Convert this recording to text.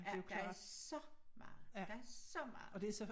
Ja der er så meget der er så meget